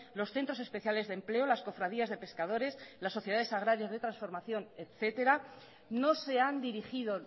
los centros especiales de empleo las cofradías de pescadores las sociedades agrarias de transformación etcétera no sé han dirigido